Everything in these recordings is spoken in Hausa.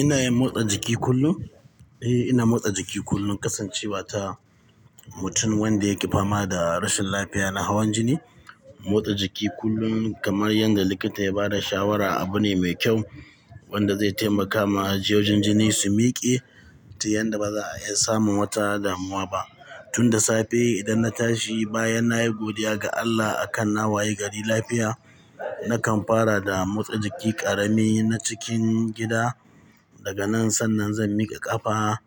Ina yin motsa jiki kullum. Eh, ina motsa jiki kullum kasancewa ta mutum wanda yake fama da rashin lafiya na hawan jini. Motsa jiki kullum kamar yadda likita ya ba da shawara abu ne mai kyau wanda zai taimaka ma jiyojin jini su miƙe ta yanda ba za a iya samun wata damuwa ba. Tun da safe idan na tashi bayan na yi godiya ga Allah a kan na waye gari lafiya, nakan fara da motsa jiki ƙarami na cikin gida. Daga nan sannan zan miƙa ƙafa,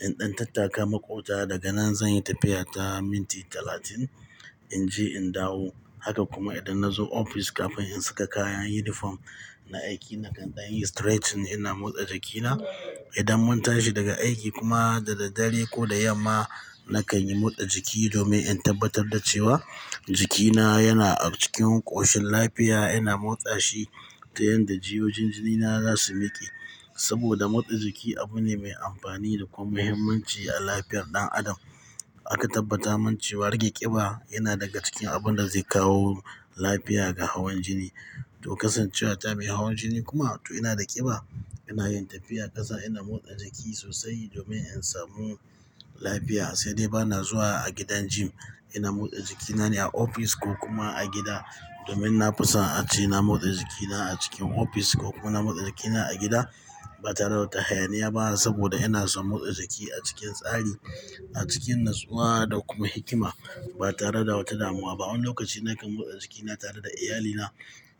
in ɗan tattaka maƙwabta. Daga nan zan yi tafiya ta minti talatin in je in dawo. Haka kuma idan na zo ofis kafin in saka kayan yunifom na aiki nakan ɗan yi stretching ina motsa jikina. Idan mun tashi daga aiki kuma da daddare ko da yamma, nakan yi motsa jiki domin in tabbatar da cewa jikina yana a cikin ƙoshin lafiya. Ina motsa shi ta yanda jiyojin jinina za su miƙe. Saboda motsa jiki abu ne mai amfani da kuma muhimmanci a lafiyar ɗan adam. Aka tabbata min cewa rage ƙiba yana daga cikin abin da zai kawo lafiya ga hawan jini. To kasancewa ta mai hawan jini kuma to ina da ƙiba, ina yin tafiya tasa ina motsa jiki sosai domin in samu lafiya. Sai dai bana zuwa a gidan gym. Ina motsa jikina ne a ofis ko kuma a gida domin na fi son a ce na motsa jikina a cikin ofis ko kuma na motsa jikina a gida ba tare da wata hayaniya ba saboda ina so motsa jiki a cikin tsari, a cikin natsuwa da kuma hikima ba tare da wata damuwa ba. Wani lokaci nakan motsa jikina tare da iyalina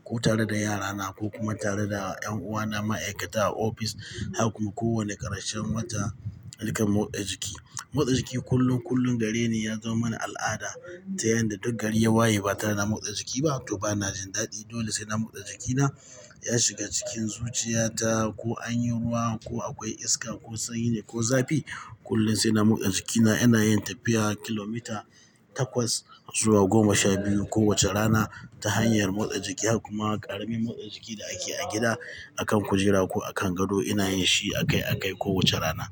ko tare da yarana ko kuma tare da 'yan uwana ma'aikata a ofis haka kuma kowane ƙarshen wata, nakan motsa jiki. Motsa jiki kullum kullum gare ni ya zama mani al'ada ta yanda duk gari ya waye ba tare da na motsa jiki ba to bana jin daɗi. Dole sai na motsa jikina. Ya shiga cikin zuciya ta ko an yi ruwa ko akwai iska ko sanyi ne ko zafi, kullum sai na motsa jikina. Ina yin tafiya kilomita takwas zuwa goma sha biyu kowace rana ta hanyar motsa jiki har kuma ƙaramin motsa jiki da ake a gida akan kujera ko akan gado ina yin shi a kai a kai kowace rana.